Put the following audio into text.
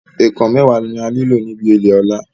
Ẹ̀ẹ̀kàn mẹ́wàá ni a nílò níbi ilè Ọ̀la